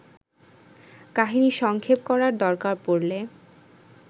কাহিনি সংক্ষেপ করার দরকার পড়লে